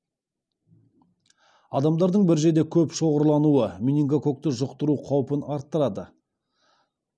адамдардың бір жерде көп шоғырлануы менингококкті жұқтыру қаупін арттырады